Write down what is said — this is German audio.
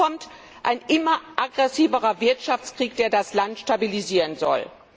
Hinzu kommt ein immer aggressiverer Wirtschaftskrieg, der das Land destabilisieren soll.